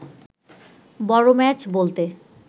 বড় ম্যাচ বলতে